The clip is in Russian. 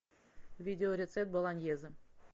видеорецепт болоньезе